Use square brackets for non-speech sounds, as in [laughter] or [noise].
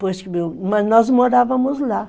[unintelligible] nós morávamos lá.